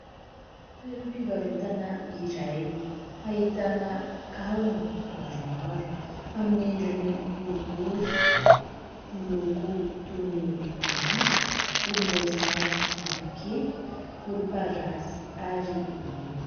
Toeram-pivarotana iray ahitana kavina maromaro amin'ny endriny borobory miloko toy ny maintso, volom-boasary, mavo kely, volom-parasy ary mena.